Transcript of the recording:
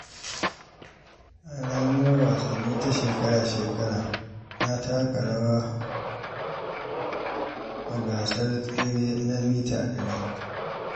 A ranar wasanni ta shekara-shekara, na taka rawa a gasar tsere na mita 100.